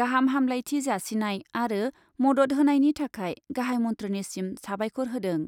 गाहाम हामलायथि जासिनाय आरो मदद होनायनि थाखाय गाहाइ मन्थ्रिनिसिम साबायखर होदों।